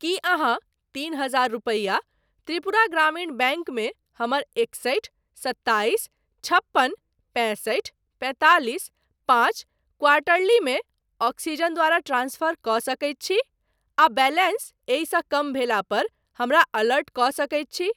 की अहाँ तीन हजार रुपैया त्रिपुरा ग्रामीण बैंक मे हमर एकसठि सताइस छप्पन पैंसठि पैंतालिस पाँच क्वाटर्ली मे ऑक्सीजन द्वारा ट्रांसफर कऽ सकैत छी आ बैलेंस एहिसँ कम भेला पर हमरा अलर्ट कऽ सकैत छी ?